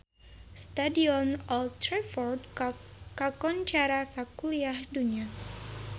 Stadion Old Trafford kakoncara sakuliah dunya